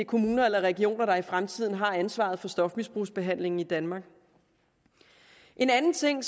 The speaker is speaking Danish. kommuner eller regioner der i fremtiden har ansvaret for stofmisbrugsbehandlingen i danmark en anden ting